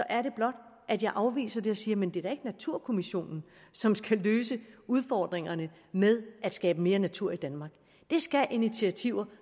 er det blot at jeg afviser det og siger men det er da ikke naturkommissionen som skal løse udfordringerne med at skabe mere natur i danmark det skal de initiativer